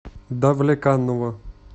давлеканово